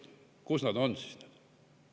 Kus nad on?